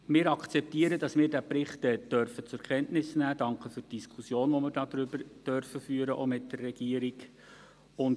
Wir akzeptieren, dass wir den Bericht zur Kenntnis nehmen dürfen, und danken für die Diskussion, die wir auch mit der Regierung darüber führen dürfen.